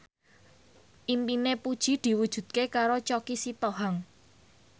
impine Puji diwujudke karo Choky Sitohang